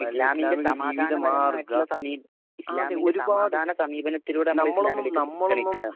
ഇസ്ലാമിന്റെ സമാധാന സമാധാന സമീപനത്തിലൂടെ നമ്മള് ഇസ്ലാമിലേയ്ക്ക് ക്ഷണിക്കണം അവരെ